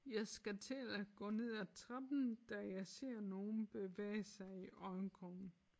Jeg skal til at gå ned ad trappen da jeg ser nogen bevæge sig i øjenkrogen